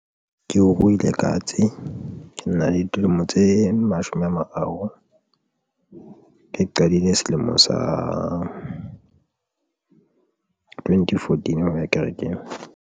Ke ruile katse, ke na le dilemo tse mashome a mararo ke qadile selemo sa twenty fourteen ho ya kerekeng.